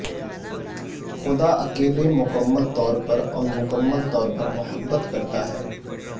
خدا اکیلے مکمل طور پر اور مکمل طور پر محبت کرتا ہے